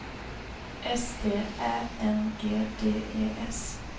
S T Ä N G D E S